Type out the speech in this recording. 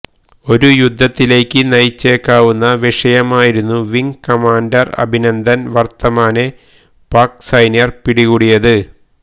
ഒരു യുദ്ധത്തിലേക്ക് നയിച്ചേക്കാവുന്ന വിഷയമായിരുന്നു വിങ് കമാന്റർ അഭിനന്ദൻ വർത്തമാനെ പാക് സൈനികർ പിടികൂടിയത്